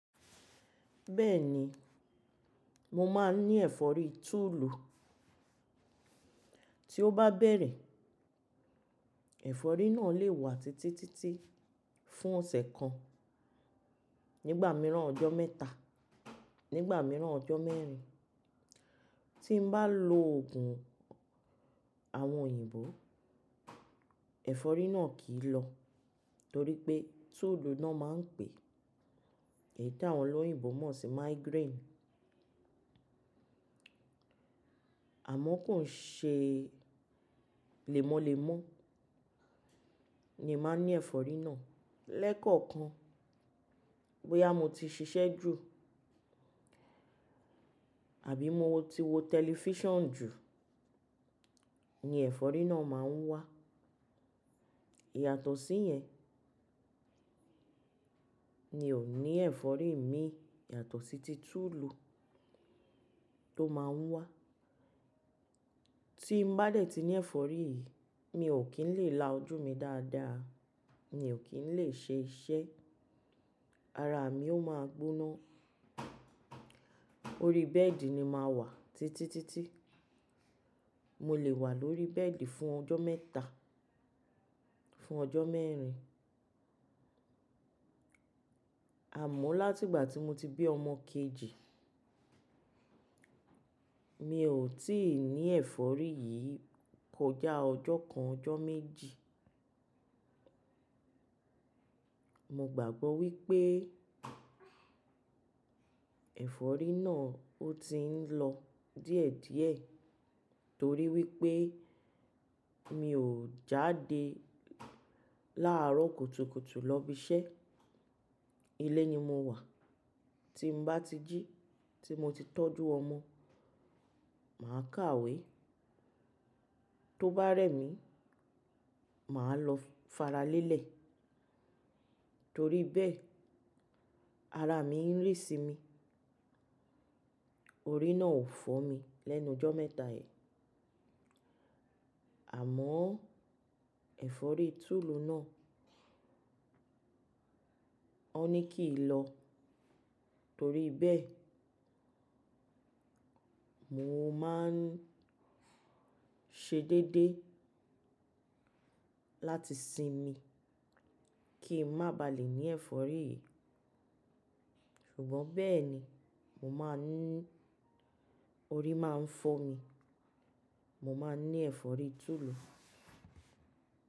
Bẹ́ẹ̀ ni, mo máa ń ní ẹ̀fọ́rí tulu. Tí ó bá bẹ̀rẹ̀, ẹ̀fọ́rí náà lè wà títítítí fún ọ̀sẹ̀ kan, nígbà mìíràn ọjọ́ mẹ́ta, nígbà mìíràn ọjọ́ mẹ́rin. Tí mo bá lo òògùn àwọn òyìnbó, ẹ̀fọ́rí náà kì í lọ torí pé tòòdù náà máa ń pè, èyí tí àwọn olóyìnbo mọ̀ sí migraine. Àmọ́ kàn ṣe lémọ́lémọ́ ni màá ń ní ẹ̀fọ́rí náà. Lẹ́kọ̀ọ̀kan bóyá mo ti ṣiṣẹ́ jù àbí mo ti wo tẹlifíṣàn jù ni ẹ̀fọ́rí náà máa ń wá. Iyàtọ̀ sí yẹn ni òní ẹ̀fọ́rí mi, iyàtọ̀ sí ti tulu tó máa ń wá. Tí mo bá dẹ̀ ti ní ẹ̀fọ́rí yìí, mi ò kí ń lè la ojú mi dáadáa, mi ò kí ń lè ṣe iṣẹ́, ara mi ó máa gbóná, orí bẹ́ẹ̀dì ni màá wà títítítí. Mo lè wà lórí bẹ́ẹ̀dì fún ọjọ́ mẹ́ta, fún ọjọ́ mẹ́rin. Àmọ́ láti ìgbà tí mo ti bí ọmọ kejì, mi ò tí ì ní ẹ̀fọ́rí yìí kọjá ọjọ́ kan, ọjọ́ méjì. Mo gbàgbọ́ wípé ẹ̀fọ́rí náà ó ti ń lọ díẹ̀díẹ̀ torí wípé mi ò jáde láàárọ̀ kùtùkùtù lọ ibi iṣẹ́. Ilé ni mo wà. Tí mo bá ti jí, tí mo ti tọ́jú ọmọ, màá kàwé. Tó bá rẹ̀ mí, màá lọ faralẹ́lẹ̀ torí bẹ́ẹ̀ ara mi ń rì sí mi, orí náà ò fọ́ mi lẹ́nu ọjọ́ mẹ́ta yìí. Àmọ́ ẹ̀fọ́rí tulu náà, ó ní kì í lọ torí bẹ́ẹ̀ mo máa ń ṣe déédéé láti sinmi kí ń má baà lè ní ẹ̀fọ́rí yìí. Ṣùgbọ́n bẹ́ẹ̀ ni, mo máa ń orí máa ń fọ́ mi, mo máa ń ní ẹ̀fọ́rí tulu.